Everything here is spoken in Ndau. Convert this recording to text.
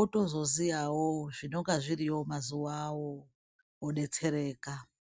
otozoziyawo zvinonga zviriyo mazuvawo, odetsereka.